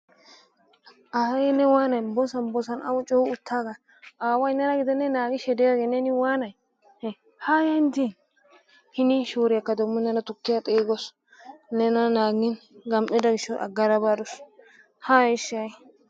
Ayee ne waanay boosan boosan awun coo uuttagay? Aaway nena gidenee naagidi diyoogee? Ne waanay? haaya hiini shooriyaakka neena degmo tuukkiyaawu xeeggawus gammi"ido giishshawu aggada baadus. Haya ishi ha"i!